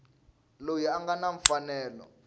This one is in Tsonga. loyi a nga na mfanelo